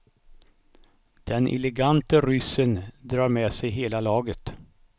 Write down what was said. Den elegante ryssen drar med sig hela laget.